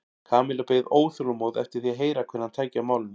Kamilla beið óþolinmóð eftir því að heyra hvernig hann tæki á málinu.